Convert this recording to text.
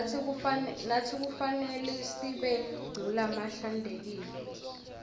natsi kufanelesibe ngulabahlantekile